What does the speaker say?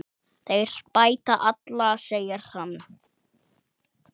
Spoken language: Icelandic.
Þeir bæta alla, segir hann.